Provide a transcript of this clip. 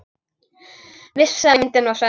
Vissi að myndin var sönn.